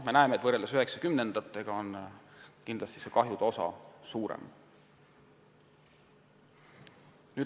Me näeme, et võrreldes 1990-ndatega on kahju osakaal suurem.